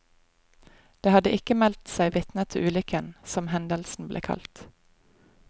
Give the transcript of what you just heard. Det hadde ikke meldt seg vitner til ulykken, som hendelsen ble kalt.